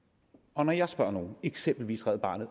og når jeg spørger nogle eksempelvis red barnet